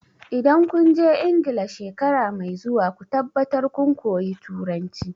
Idan kun je Ingila shekara mai zuwa ku tabbatar kun koyi Turanci!